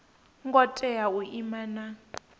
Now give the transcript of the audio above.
ngo tea u ima na